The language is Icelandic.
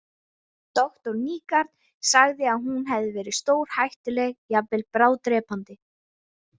Doktor Nygaard sagði að hún hefði verið stórhættuleg, jafnvel bráðdrepandi.